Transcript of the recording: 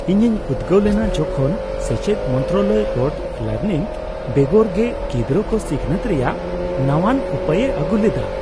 ᱤᱧᱤᱧ ᱩᱫᱜᱟᱟᱹᱣ ᱞᱮᱱᱟ ᱡᱚᱠᱷᱚᱱ ᱥᱮᱪᱮᱫ ᱢᱚᱱᱛᱨᱟᱞᱚᱭ ᱨᱳᱴ ᱞᱟᱨᱱᱤᱝ ᱵᱮᱜᱚᱨ ᱜᱮ ᱜᱤᱫᱽᱨᱟᱹ ᱠᱚ ᱥᱤᱠᱷᱱᱟᱹᱛ ᱨᱮᱭᱟᱜ ᱱᱟᱣᱟᱱ ᱩᱯᱟᱹᱭᱮ ᱟᱹᱜᱩ ᱞᱮᱫᱟ ᱾